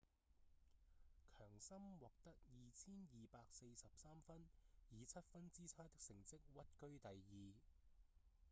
強森獲得 2,243 分以七分之差的成績屈居第二